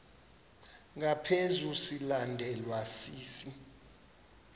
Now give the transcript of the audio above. ngaphezu silandelwa sisi